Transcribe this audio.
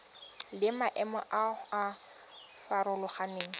le maemo a a farologaneng